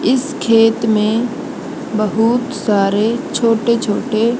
इस खेत में बहुत सारे छोटे छोटे--